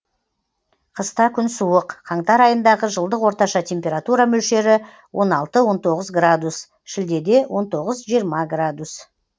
қыста күн суық қаңтар айындағы жылдық орташа температура мөлшері он алты он тоғыз градус шілдеде он тоғыз жиырма градус